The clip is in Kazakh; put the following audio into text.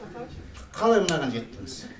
қалай мынаған жеттіңіз